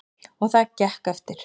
Og það gekk eftir.